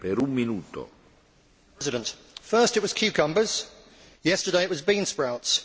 Mr President, first it was cucumbers, yesterday it was bean sprouts.